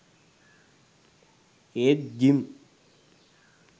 ඒත් ජිම්